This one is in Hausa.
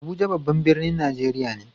Abuja babban birnin Najeriya ne.